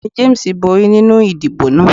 Ọgbẹni James bori ninu idibo naa.